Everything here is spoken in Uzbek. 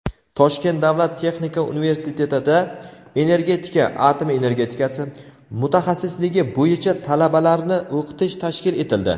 Toshkent davlat texnika universitetida "Energetika (atom energetikasi)" mutaxassisligi bo‘yicha talabalarni o‘qitish tashkil etildi.